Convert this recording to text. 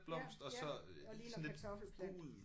Ja ja og ligner en kartoffelplante